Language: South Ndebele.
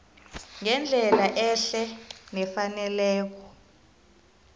ngendlela ehle nefaneleko